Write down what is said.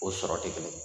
O sɔrɔ tɛ kelen ye